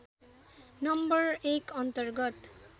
number १ अन्तर्गत